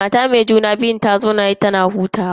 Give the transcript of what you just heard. Mata me juna biyun ta zauna tana hutawa.